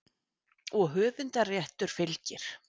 Og höfundarréttur fylgir.